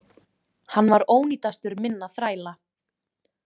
Hann var ónýtastur minna þræla.